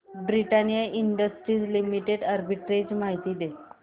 Britannia Industries Limited arbitrage माहिती दे